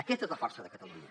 aquesta és la força de catalunya